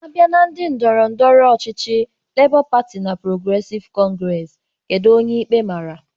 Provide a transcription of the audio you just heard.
Abịa na ndị ndọrọ ndọrọ ọchịchị Lebọ Patị na Ọl Progresịv Kọngresi, kedu onye ikpe mara?